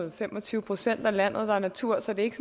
at fem og tyve procent af landet er natur så det er ikke